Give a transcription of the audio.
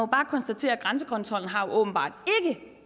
bare konstatere at grænsekontrollen åbenbart